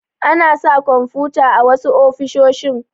Ana sa kwamfuta a wasu ofisoshi.